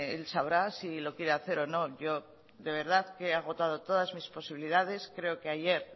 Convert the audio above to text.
él sabrá si lo quiere hacer o no yo de verdad que he agotado todas mis posibilidades creo que ayer